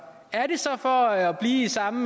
er det så for at blive i samme